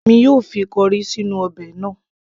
èmi yóò fi corrie sí inú ọbẹ̀ náà